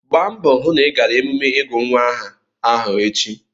Gbaa mbọ hụ na ị gara emume ịgụ nwa aha ahụ echi!